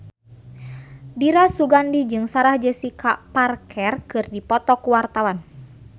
Dira Sugandi jeung Sarah Jessica Parker keur dipoto ku wartawan